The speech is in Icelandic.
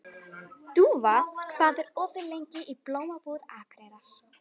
Dúfa, hvað er opið lengi í Blómabúð Akureyrar?